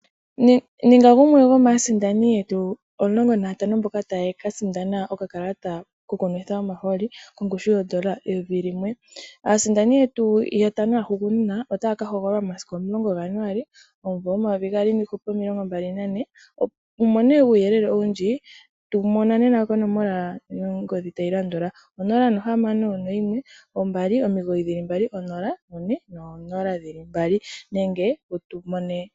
Ninga gumwe gomaasindani yetu omulongo nayatano mboka taya ka sindana okakalata koku nwitha omahooli kongushu yoondola eyovi limwe. Aasindani yetu yotango yahugunina, otaya ka hogololwa momasiku omulogo gaJanuali omumvo 2024. Wu mone uuyelele owundji, tu mona nena konomola yongodhi tayi landula: 0612990400 nenge wutu mone.